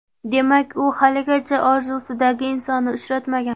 Demak, u haligacha orzusidagi insonni uchratmagan.